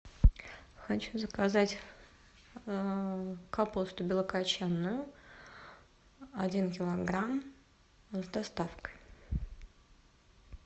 хочу заказать капусту белокочанную один килограмм с доставкой